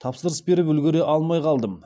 тапсырыс беріп үлгере алмай қалдым